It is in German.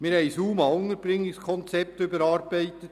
Wir haben das UMA-Unterbringungskonzept überarbeitet.